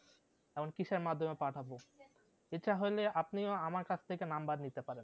আমরা কিসের মাধ্যমে পাঠাবো এটা হলে আপনিও আমার কাছ থেকে number নিতে পারেন